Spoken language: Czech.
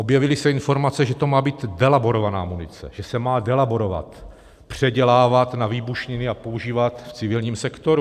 Objevily se informace, že to má být delaborovaná munice, že se má delaborovat - předělávat na výbušniny a používat v civilním sektoru.